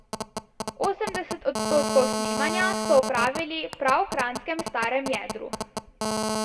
Osemdeset odstotkov snemanja so opravili prav v kranjskem starem jedru.